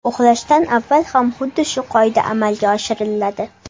Uxlashdan avval ham xuddi shu qoida amalga oshiriladi.